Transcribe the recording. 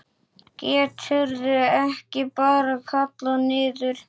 Geturðu ekki bara kallað niður?